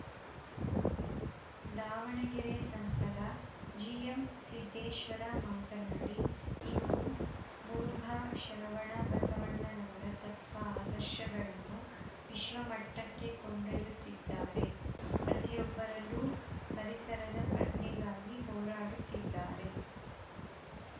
ದಾವಣಗೆರೆ ಸಂಸದ ಜಿಎಂ ಸಿದ್ದೇಶ್ವರ ಮಾತನಾಡಿ ಇಂದು ಮುರುಘಾ ಶರವಣ ಬಸವಣ್ಣನವರ ತತ್ವ ಆದರ್ಶಗಳನ್ನು ವಿಶ್ವಮಟ್ಟಕ್ಕೆ ಕೊಂಡೊಯ್ಯುತ್ತಿದ್ದಾರೆ ಪ್ರತಿಯೊಬ್ಬರಲ್ಲೂ ಪರಿಸರದ ಪ್ರಜ್ಞೆಗಾಗಿ ಹೋರಾಡುತ್ತಿದ್ದಾರೆ